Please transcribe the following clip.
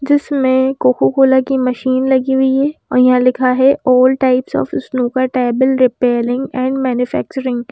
जिसमें Coca Cola की machine लगी हुई है और यहां लिखा है all types of snooker table repairing and manufacturing.